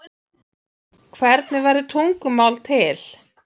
hvernig verður tungumál til